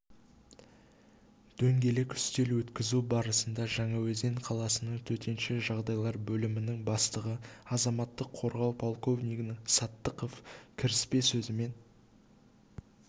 дөңгелек үстел өткізу барысында жаңаөзен қаласының төтенше жағдайлар бөлімінің бастығы азаматтық қорғау подполковнигі саттықов кіріспе сөзімен